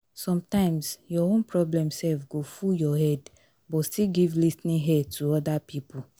sometimes your own problem sef go full your head but still give lis ten ing ear to oda pipo